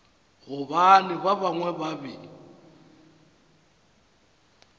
gobane ba bangwe ba be